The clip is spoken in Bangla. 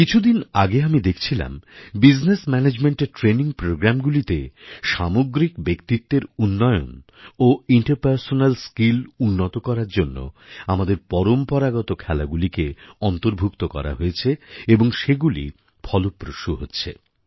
কিছুদিন আগে আমি দেখছিলাম বিজনেস ম্যানেজমেন্টের ট্রেনিং প্রোগ্রামগুলিতে সামগ্রিক ব্যক্তিত্বের উন্নয়ন ও ইন্টারপার্সনাল স্কিল উন্নত করার জন্য আমাদের পরম্পরাগত খেলাগুলিকে অন্তর্ভুক্ত করা হয়েছে এবং সেগুলি ফলপ্রসূ হচ্ছে